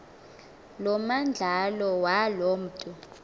lomandlalo waloo mntu